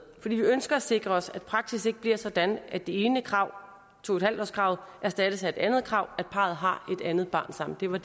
fordi vi ønsker at sikre os at praksis ikke bliver sådan at det ene krav to en halv årskravet erstattes af et andet krav at parret har et andet barn sammen det var